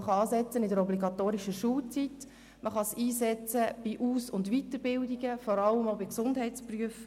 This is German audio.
Man kann in der obligatorischen Schulzeit anfangen oder sie in die Aus- und Weiterbildungen einbeziehen, insbesondere bei den Gesundheitsberufen.